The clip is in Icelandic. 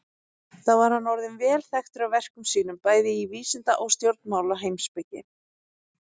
Þá var hann orðinn vel þekktur af verkum sínum, bæði í vísinda- og stjórnmálaheimspeki.